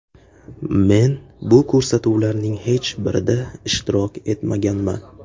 Men bu ko‘rsatuvlarning hech birida ishtirok etmaganman.